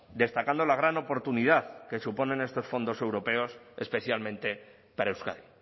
destacando la gran oportunidad que suponen estos fondos europeos especialmente para euskadi